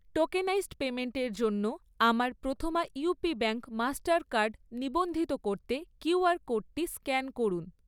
Tokenised পেইমেন্টের জন্য আমার Prathama UP bank Mastercard নিবন্ধিত করতে কিউআর কোডটি স্ক্যান করুন।